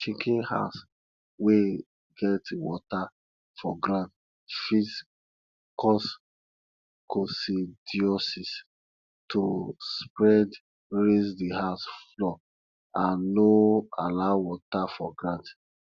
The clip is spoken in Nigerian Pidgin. chicken house wey get water for ground fit cause coccidiosis to spreadraise the house floor and no allow water for ground